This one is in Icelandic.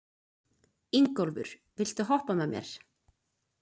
Ingólfur, viltu hoppa með mér?